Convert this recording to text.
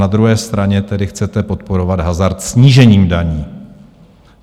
Na druhé straně tedy chcete podporovat hazard snížením daní.